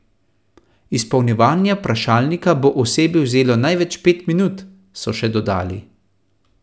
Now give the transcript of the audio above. Izpolnjevanje vprašalnika bo osebi vzelo največ pet minut, so še dodali.